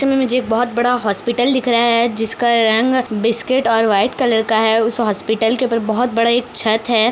चित्र मे मुझे बहुत बड़ा हॉस्पिटल दिख रहा है जिसका रंग बिस्किट और व्हाइट कलर का है उस हॉस्पिटल के ऊपर बहुत बड़ा एक छत है।